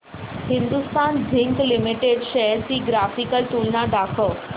Hindustan zinc limited shares ची graphical तुलना दाखव